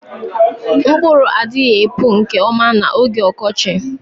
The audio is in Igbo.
Mkpụrụ adịghị epu nke ọma n'oge ọkọchị